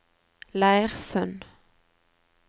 Leirsund